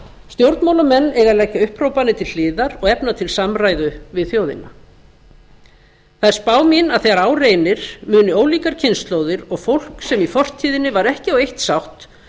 stjórnmálamenn eiga að leggja upphrópanir til hliðar og efna til samræðu við þjóðina það er spá mín að þegar á reynir munu ólíkar kynslóðir og fólk sem í fortíðinni var ekki á eitt sátt